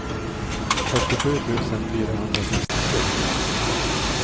fyrtiosju tusen fyrahundrasextiotre